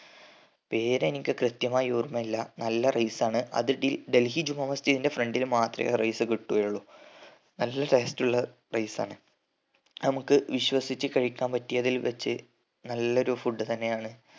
പേര് എനിക്ക് കൃത്യമായി ഓർമ്മില്ല നല്ല rice ആണ് അത് ഡെൽ ഡൽഹി ജുമാ മസ്ജിദിന്റെ front ൽ മാത്രേ ആ rice കിട്ടുയുള്ളു നല്ല taste ഉള്ള rice ആണ് അത് നമ്മക്ക് വിശ്വസിച്ച് കഴിക്കാൻ പറ്റിയതിൽ വച്ച് നല്ലൊരു food തന്നെ ആണ്